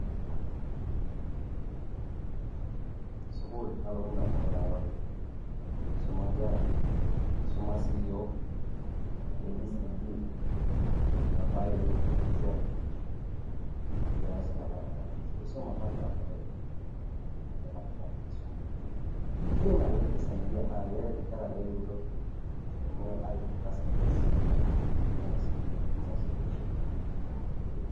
sukuul nalotu indamunot tenadol ena . kisuma nkera, kisuma siiyiok ,abcd nabaiki z ,ekias enkisuma apa kira kutitik . ene tipat ena kisuma pi naleng naa keret nkera metayiolo aitunga sentenci.